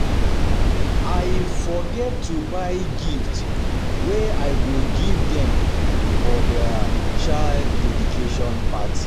I um forget to buy gift wey I go um give dem for their child dedication party